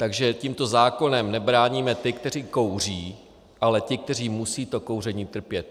Takže tímto zákonem nebráníme ty, kteří kouří, ale ty, kteří musí to kouření trpět.